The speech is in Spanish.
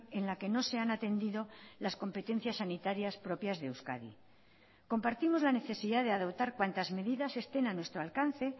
en la que no se han atendido las competencias sanitarias propias de euskadi compartimos la necesidad de adoptar cuantas medidas estén a nuestro alcance